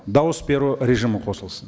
дауыс беру режимі қосылсын